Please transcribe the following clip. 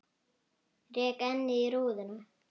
Rek ennið í rúðuna.